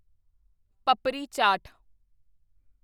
papri chaat papdi chaat